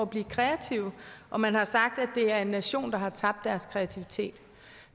blive kreative og man har sagt at det er en nation der har tabt deres kreativitet